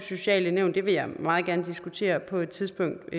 sociale nævn vil jeg meget gerne diskutere på et tidspunkt